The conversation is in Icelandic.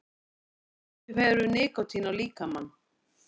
Hvaða áhrif hefur nikótín á líkamann?